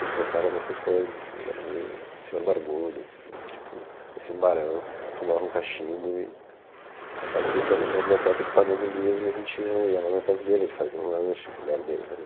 Ele pensava nessas coisas, assim, ele era meio um senhor barbudo, assim, tipo, parecia um barão, fumava um cachimbo e ficava o dia inteiro naquela biblioteca espanando livro e a gente ia ia lá na casa dele, ele fazia um lanche, a mulher dele